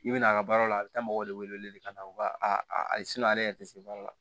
I bɛ na a ka baaraw la a bɛ taa mɔgɔw de wele ka na wa a ale yɛrɛ tɛ se baara la